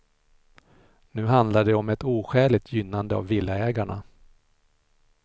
Nu handlar det om ett oskäligt gynnande av villaägarna.